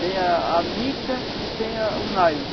Tem a a mica e tem a o nylon.